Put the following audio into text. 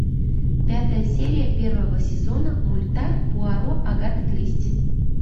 пятая серия первого сезона мульта пуаро агаты кристи